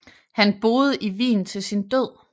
Han boede i Wien til sin død